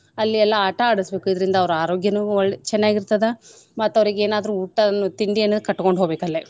ಅಲ್ಲಿ ಎಲ್ಲಾ ಆಟಾ ಆಡಸ್ಬೇಕು ಇದ್ರಿಂದ ಅವ್ರ ಆರೋಗ್ಯನೂ ಒಳ್~ ಚೆನ್ನಾಗ್ ಇರ್ತದ ಮತ್ ಅವರೀಗೇನಾದ್ರೂ ಊಟವನ್ನು ತಿಂಡಿಯನ್ನು ಕಟ್ಗೊಂಡ್ ಹೋಗ್ಬೇಕಲ್ಲೆ .